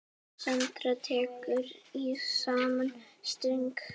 Sandra tekur í sama streng.